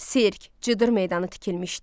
Sirk, cıdır meydanı tikilmişdi.